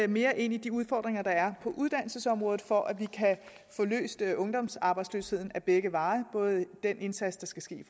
mere ind i de udfordringer der er på uddannelsesområdet for at vi kan få løst ungdomsarbejdsløsheden ad begge veje den indsats der skal ske i